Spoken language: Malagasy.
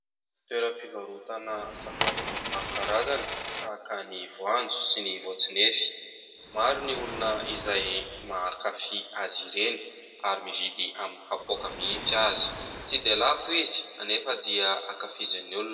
Toeram-pivarotana sakafo maro karazana tahaka ny voanjo sy ny voatsInefy. Maro ny olona izay mankafy azy ireny ary mividy amin'ny kapoaka mihitsy aza. Tsy dia lafo izy nefa dia ankafizin'ny olona.